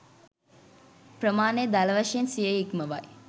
ප්‍රමාණය දළ වශයෙන් සියය ඉක්මවයි